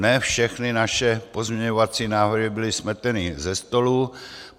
Ne všechny naše pozměňovací návrhy byly smeteny ze stolu.